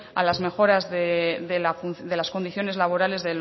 a las mejoras de las condiciones laborales